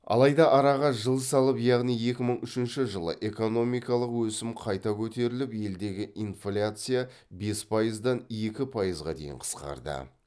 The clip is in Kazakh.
алайда араға жыл салып яғни екі мың үшінші жылы экономикалық өсім қайта көтеріліп елдегі инфляция бес пайыздан екі пайызға дейін қысқарды